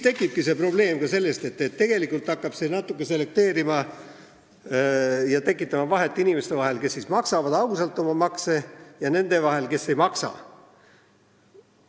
Tekibki see probleem, et tegelikult hakatakse natuke selekteerima ja tekitama vahet inimeste vahel: need, kes maksavad ausalt oma makse, ja need, kes ei maksa.